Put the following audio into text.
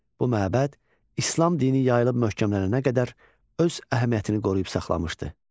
Bu məbəd İslam dini yayılıb möhkəmlənənə qədər öz əhəmiyyətini qoruyub saxlamışdı.